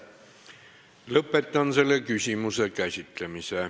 Lõpetan selle küsimuse käsitlemise.